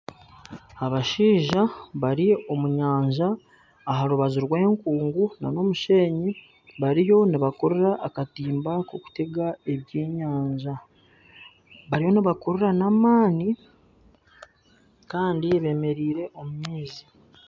Abashaija bari omu nyanja aha rubaju rw'enkungu nana Omushenyi bariyo nibakurira akatimba kokutega ebyenyanja . Bariyo nibakurira n'amaani Kandi bemereire omu maizi.